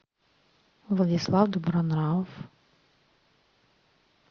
владислав добронравов